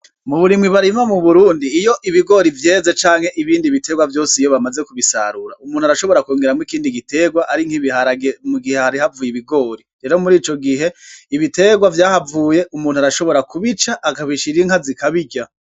Muburimyi barima mu BURUNDI iyo ibigori vyeze canke ibindi bitegwa vyose iyo bamaze kubisarura umuntu arashobora kwongeramwo ikindi gitegwa arink'ibiharage mugihe hari havuye ibigori, rero murico gihe ibitegwa vyahavuye umuntu arashobora kubica akabishira inka zikabirya.